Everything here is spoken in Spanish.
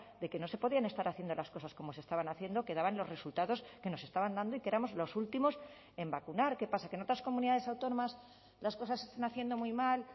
de que no se podían estar haciendo las cosas como se estaban haciendo que daban los resultados que nos estaban dando y que éramos los últimos en vacunar qué pasa que en otras comunidades autónomas las cosas se están haciendo muy mal